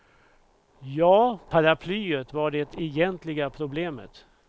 Ja, paraplyet var det egentliga problemet.